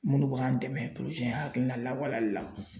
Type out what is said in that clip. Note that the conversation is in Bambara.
Minnu bɛ k'an dɛmɛ in hakilina lawaleyali la